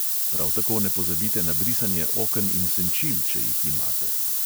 Prav tako ne pozabite na brisanje oken in senčil, če jih imate.